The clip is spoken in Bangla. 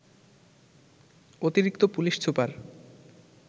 অতিরিক্ত পুলিশ সুপার